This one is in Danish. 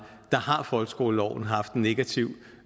der har folkeskoleloven haft en negativ